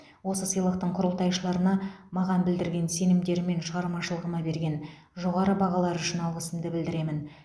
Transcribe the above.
осы сыйлықтың құрылтайшыларына маған білдірген сенімдері мен шығармашылығыма берген жоғары бағалары үшін алғысымды білдіремін